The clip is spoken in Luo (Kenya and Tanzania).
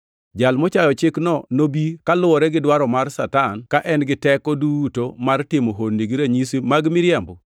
Jal mochayo Chikno nobi kaluwore gi dwaro mar Satan ka en gi teko duto mar timo honni gi ranyisi mag miriambo,